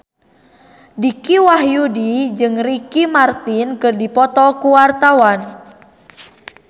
Dicky Wahyudi jeung Ricky Martin keur dipoto ku wartawan